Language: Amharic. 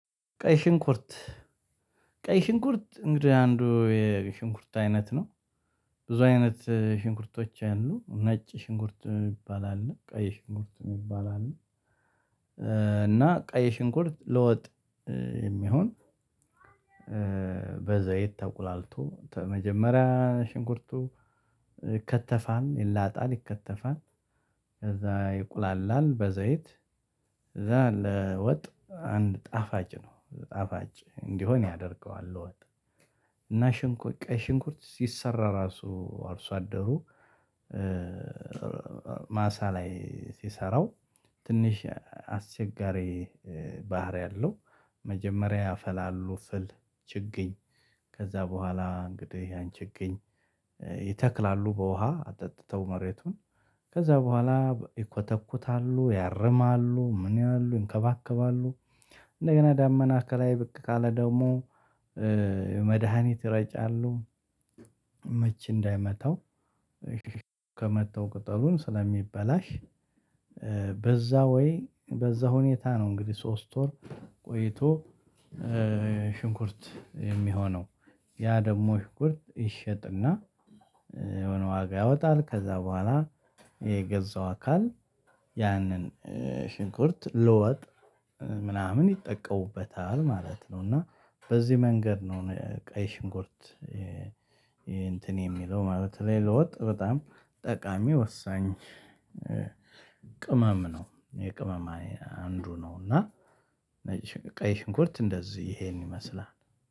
ቀይ ሽንኩርት ቀይ ሽንኩርት እንደ አንዱ የሽንኩርት አይነት ነው። ብዙ አይነት ሽንኩርቶች አሉ ነጭ ሽንኩርት ይባላል ቀይ ሽንኩርት ይባላል። እና ቀይ ሽንኩርት ለወጥ የሚሆን። በዘይት ተቁላልቶ ተመጀመሪያ ሽንኩርቱ ይከተፋል ይላጣል ይከተፋል። ይቁላላል በዘይት ከዛ ለወጥ አንድ ጣፋጭ ጣፋጭ እንዲሆን ያደርገዋል። ለወጥ እና ሽንኩርት ቀይ ሽንኩርት ሲሰራ ራሱ አርሶ አደሩ። ማሳ ላይ ሲሰራው ትንሽ አስቸጋሪ ባህሪ አለው። መጀመሪያ ያፈላሉ ፍል ችግኝ ከዛ በኋላ እንግዲህ ያን ችግኝ ይተክላሉ በውሃ አጠጥተው መሬቱን ከዛ በኋላ ይኮተኩታሉ ያርማሉ ምን ያህል ይንከባከባሉ። እንደገና ዳመና ከላይ ብቅ ካለ ደግሞ መድሃኒት ይረጫሉ። ምች እንዳይመታው ከመታው ቅጠሉን ስለሚበላሽ። በዛ ወይ በዛ ሁኔታ ነው እንግዲህ ሶስት ወር ቆይቶ ሽንኩርት የሚሆነው። ያ ደግሞ ሽኩርት ይሸጥና የሆነ ዋጋ ያወጣል። ከዛ በኋላ የገዛው አካል ያንን ሽንኩርት ለወጥ ምናምን ይጠቀሙበታል ማለት ነው። እና በዚህ መንገድ ነው ቀይ ሽንኩርት እንትን የሚለው ማለት ነው። ለወጥ በጣም ጠቃሚ ወሳኝ ቅመም ነው የቅመም አንዱ ነው። እና ቀይ ሽንኩርት እንደዚህ ይሄን ይመስላል